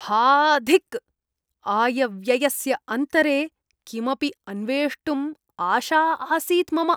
हा धिक्। आयव्ययस्य अन्तरे किमपि अन्वेष्टुम् आशा आसीत् मम।